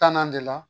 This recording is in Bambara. Tannan de la